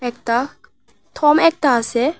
একতা থম একতা আছে।